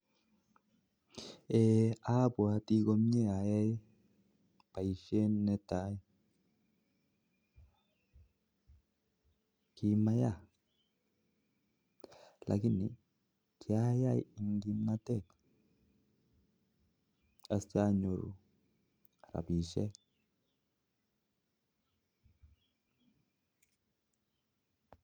Abwoti komye ayoe boisyoni netai ak kimayaa ak kyai eng kimnatet ak anyoru rabishek chechang